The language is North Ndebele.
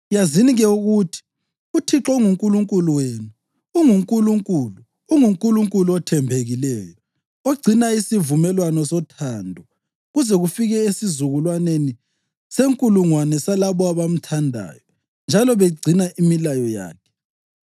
Yazini-ke ukuthi uThixo uNkulunkulu wenu unguNkulunkulu; unguNkulunkulu othembekileyo, ogcina isivumelwano sothando kuze kufike esizukulwaneni senkulungwane salabo abamthandayo njalo begcina imilayo yakhe.